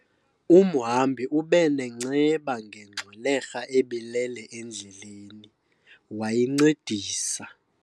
Umhambi ube nenceba ngengxwelerha ebilele endleleni, wayincedisa.